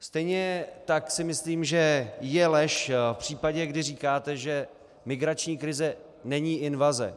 tejně tak si myslím, že je lež v případě, kdy říkáte, že migrační krize není invaze.